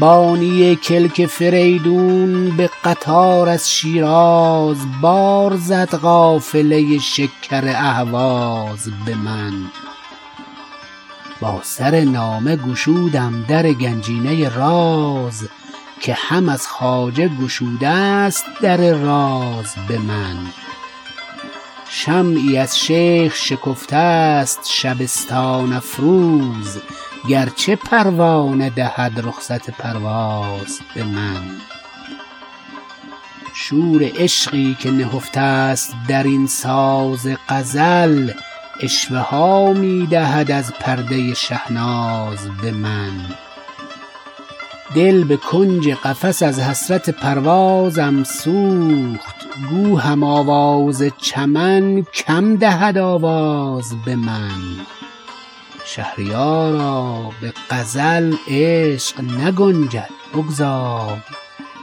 بانی کلک فریدون به قطار از شیراز بار زد قافله شکر اهواز به من با سر نامه گشودم در گنجینه راز که هم از خواجه گشوده است در راز به من شمعی از شیخ شکفته است شبستان افروز گرچه پروانه دهد رخصت پرواز به من شور عشقی که نهفته است در این ساز غزل عشوه ها می دهد از پرده شهناز به من دل به کنج قفس از حسرت پروازم سوخت گو هم آواز چمن کم دهد آواز به من تا چه بازی کند این بخت بدانجامم باز نردها باخته این عشق خوش آغاز به من نقشی از عهد عتیقم من و محو ای نقاش زحمت خود مده و خجلت پرواز به من شهریارا به غزل عشق نگنجد بگذار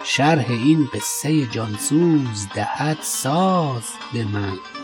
شرح این قصه جانسوز دهد ساز به من